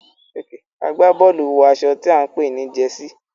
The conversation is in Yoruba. agbaboolu wọ aṣọ tí a npè ni Jersey.